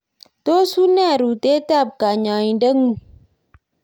tos une rutetab nyoinde ng'ung'?